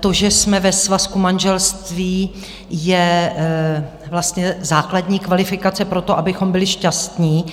to, že jsme ve svazku manželství, je vlastně základní kvalifikace pro to, abychom byli šťastní.